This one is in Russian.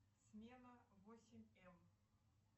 смена восемь м